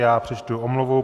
Já přečtu omluvu.